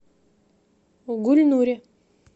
гульнуре